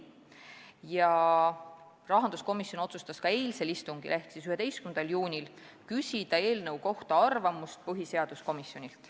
Ka otsustas rahanduskomisjon eilsel istungil ehk 11. juunil küsida eelnõu kohta arvamust põhiseaduskomisjonilt.